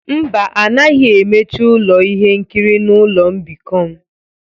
Mba, a naghị emechi ụlọ ihe nkiri na ụlọ mbikọ m.